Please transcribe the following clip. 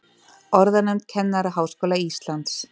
Orðanefnd Kennaraháskóla Íslands.